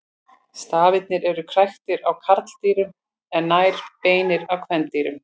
Stafirnir eru kræktir á karldýrum en nær beinir á kvendýrum.